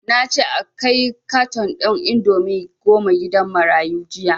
Nace a kai karan ɗin indomie goma gidan marayu jiya